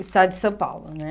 Estado de São Paulo, né?